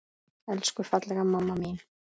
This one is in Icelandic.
Elsku fallega mamma mín!